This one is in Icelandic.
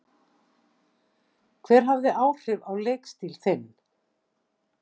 Hver hafði áhrif á leikstíl þinn?